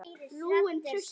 Við fórum í steik.